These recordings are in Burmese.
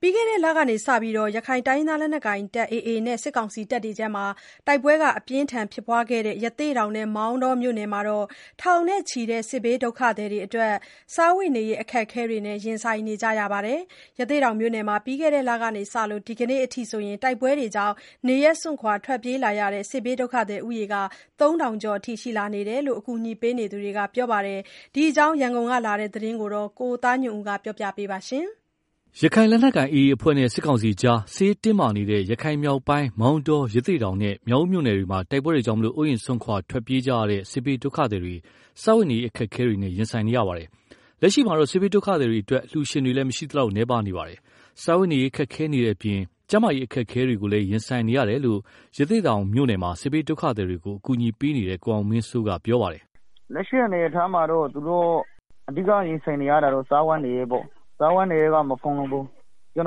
ပြီးခဲ့တဲ့လကစတင်ပြီး ရခိုင်လက်နက်ကိုင် AA အဖွဲ့နဲ့ စစ်ကောင်စီကြား တိုက်ပွဲအကြီးအကျယ်ဖြစ်ပွားခဲ့တဲ့ ရသေ့တောင်နဲ့ မောင်တောမြို့နယ်မှာ ထောင်နဲ့ချီတဲ့ စစ်ဘေးဒုက္ခသည်တွေအတွက် စားဝတ်နေရေး အခက်အခဲတွေနဲ့ ရင်ဆိုင်နေရပါတယ်။ ရသေ့တောင်မြို့နယ်မှာ ပြီးခဲ့တဲ့လကစပြီး ဒီကနေ့အထိ တိုက်ပွဲတွေကြောင့် နေရပ် စွန့်ခွာ ထွက်ပြေးလာတဲ့ စစ်ဘေးဒုက္ခသည်ဦးရေ ၃ ထောင်ကျော်ရှိတယ်လို့ အကူအညီပေးနေတဲ့သူတွက ပြောပါတယ်။ ဒီအကြောင်း ရန်ကုန်ကလာတဲ့ သတင်းကို ကိုသားညွှန့်ဦးက တင်ပြပေးထားပါတယ်။ ရခိုင်လက်နက်ကိုင်AA အဖွဲ့နဲ့ စစ်ကောင်စီကြား စစ်ရေးတင်းမာနေတဲ့ ရခိုင်မြောက် ပိုင်းက မောင်တော၊ ရသေ့တောင်နဲ့ မြောက်ဦးမြို့နယ်တွေမှာ တိုက်ပွဲတွေကြောင့် အိုးအိမ်စွန့်ခွာထွက်ပြေးလာနေကြတဲ့ စစ်ဘေးဒုက္ခသည်တွေ စားဝတ်နေရေးအခက်အခဲတွေနဲ့ ရင်ဆိုင်နေတာပါ။ လက်ရှိမှာတော့ စစ်ဘေးဒုက္ခသည်တွေအတွေက် အလှူရှင်တွေလည်းမရှိသလောက် နည်းပါးနေပါတယ်။ စားဝတ်နေရေး ခက်ခဲနေတဲ့အပြင် ကျန်းမာရေးအခက်အခဲတွေကိုလည်းရင်ဆိုင်နေရတယ်လို့ ရသေ့တောင်မြို့နယ်မှာ စစ်ဘေးဒုက္ခသည်တွေကို ကူညီပေးနေတဲ့ ကိုအောင်မင်းစိုးကပြောပါတယ်။ “လက်ရှိအနေအထားမှာ သူတို့ရင်ဆိုင်နေရတာကတော့ စားဝတ်နေရေးပေါ့၊ စားဝတ်နေရေးက မဖူလုံဘူး။ အလှူရှင်တွေပေးတာကို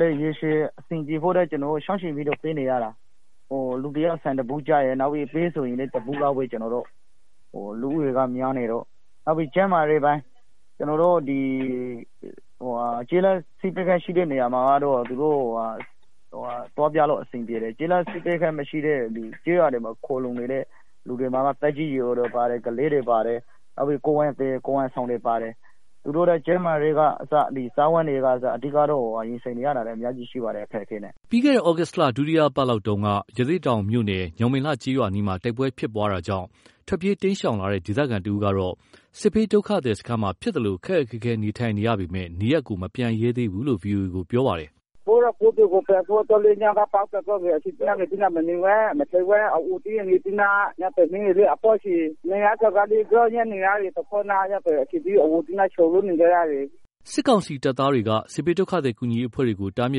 လည်း ချင့်ချိန်ပြီးတော့ ပေးနေရတယ်၊ လူတယောက် ဆန်တဗူးကျရယ်ပဲဆိုရင်လည်း တဗူးလောက်ပဲ။ လူဦးရေကများနေတော့ နောက်ပြီးတော့ ကျန်းမာရေး ကျေးလက်ဆေးခန်းရှိတဲ့နေရာမှာတော့ သူတို့သွားပြလို့ အဆင်ပြေတယ်။ မရှိတဲ့နေရာမှာဆိုရင် သက်ကြီးရွယ်အိုတွေ ကလေးတွေ ကိုယ်ဝန်ဆောင်တွေပါတယ်၊ သူတို့အတွက် ကျန်းမာရေး စားဝတ်နေရေး အခက်အခဲတွေနဲ့ ရင်ဆိုင်နေရတာ။” ပြီးခဲ့တဲ့ သြဂုတ်လ ဒုတိယအပတ်လောက်ကရသေ့တောင်မြို့နယ် ညောင်ပင်လှကျေးရွာ အနီးမှာ တိုက်ပွဲဖြစ်ပွားတာကြောင့် ထွက်ပြေးတိမ်းရှောင်လာတဲ့ ဒေသခံတဦးကတော့ စစ်ဘေးဒုက္ခသည်စခန်းမှာ ဖြစ်သလို ခက်ခက်ခဲခဲနေထိုင်နေရပေမယ့် နေရပ်ကိုမပြန်ရဲသေးဘူးလို့ VOA ကို ရခိုင်လိုပြောထားတာဖြစ်ပါတယ်။ “ကိုယ့်ရပ်ကိုယ့်ရွာကို ပြန်ဖို့အတွက်လည်း အဲဒီမှာ ပစ်သံကြားရင် မနေရဲဘူး။ ကလေးတွေ၊ သက်ကြီးတွေနဲ့ဆိုတော့လေ။ နေရတာကလည်း နှစ်ဘက်တပ်တွေရဲ့ ကြားထဲမှာဆိုတော့ မနေရဲလို့ ထွက်ပြေးနေကြတာ။” စစ်ကောင်စီတပ်သားတွေက စစ်ဘေးဒုက္ခသည်ကူညီရေးအဖွဲ့တွေကို တားမြ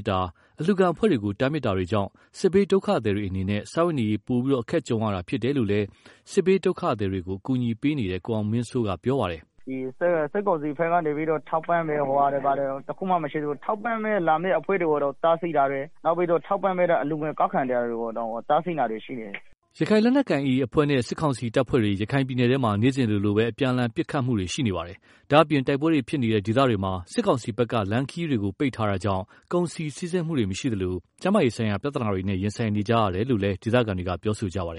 စ် တာ၊ အလှူခံအဖွဲ့တွကိုတားမြစ်တာတွေကြောင့် စစ်ဘေးဒုက္ခသည်တွေအနေနဲ့ စားဝတ်နေရေး အခက်ပိုကြုံရတာဖြစ်တယ်လို့လည်း စစ်ဘေးဒုက္ခသည်တွေကို ကူညီပေးနေတဲ့ ကိုအောင်မင်းစိုးကပြောပါတယ်။ “စစ်ကောင်စီဘက်ကလာပြီးတော့ စစ်ဘေးဒုက္ခသည်တွေကို ထောက်ပံ့တာတွေ ဘာမှမရှိသေးဘူး၊ လာရောက်ထောက်ပံ့မယ့်သူတွေကို တားဆီးတာတွေ၊ နောက်ပြီးတော့ အလှူငွေကောက်ခံတဲ့အဖွဲ့တွေကို တားဆီးတာတွေတောင် ရှိတယ်။” ရခိုင်လက်နက်ကိုင် AA အဖွဲ့နဲ့ စစ်ကောင်စီတပ်ဖွဲ့တွေ ရခိုင်ပြည်နယ်ထဲမှာ နေ့စဉ်လိုလို အပြန်အလှန်ပစ်ခတ်မှုတွေ ရှိနေပါတယ်။ ဒါ့အပြင် တိုက်ပွဲဖြစ်ပွားနေတဲ့ ဒေသတွေမှာ စစ်ကောင်စီဘက်က လမ်းခရီးတွေကို ပိတ်ထားတာကြောင့် ကုန်စည်စီးဆင်းမှုတွေမရှိသလို ကျန်းမားရေးဆိုင်ရာ ပြဿနာတွေနဲ့ ရင်ဆိုင်နေကြရတယ်လို့လည်း ဒေသခံတွေကပြောဆိုကြပါတယ်